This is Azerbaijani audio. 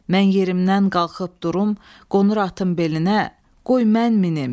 Mən yerimdən qalxıb durum, qonur atım belinə, qoy mən minim.